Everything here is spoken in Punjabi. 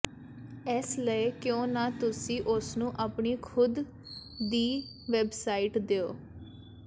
ਇਸ ਲਈ ਕਿਉਂ ਨਾ ਤੁਸੀਂ ਉਸਨੂੰ ਆਪਣੀ ਖੁਦ ਦੀ ਵੈੱਬਸਾਈਟ ਦਿਓ